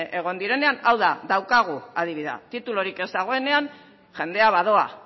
egon direnean hau da daukagu adibidea titulurik ez dagoenean jendea badoa